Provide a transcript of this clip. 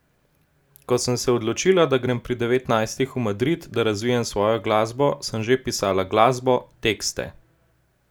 Ko sem se odločila, da grem pri devetnajstih v Madrid, da razvijam svojo glasbo, sem že pisala glasbo, tekste.